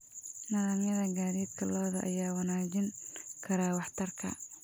Nidaamyada gaadiidka lo'da ayaa wanaajin kara waxtarka.